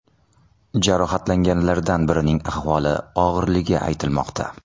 Jarohatlanganlardan birining ahvoli og‘irligi aytilmoqda.